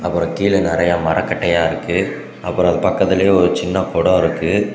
அப்புறம் கீழ நறைய மரக்கட்டையா இருக்கு அப்புறம் அது பக்கத்திலேயே ஒரு சின்ன கொடோ இருக்கு.